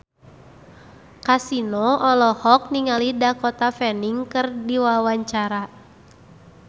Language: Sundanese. Kasino olohok ningali Dakota Fanning keur diwawancara